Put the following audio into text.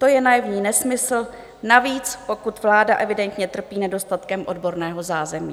To je naivní nesmysl, navíc pokud vláda evidentně trpí nedostatkem odborného zázemí.